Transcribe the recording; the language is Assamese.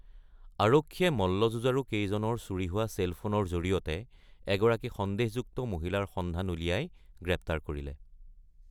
আৰক্ষীয়ে মল্লযুঁজাৰু কেইজনৰ চুৰি হোৱা চেল ফোনৰ জৰিয়তে এগৰাকী সন্দেহযুক্ত মহিলাৰ সন্ধান উলিয়াই গ্ৰেপ্তাৰ কৰিলে।